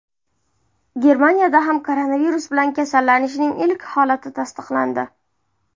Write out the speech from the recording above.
Germaniyada ham koronavirus bilan kasallanishning ilk holati tasdiqlandi .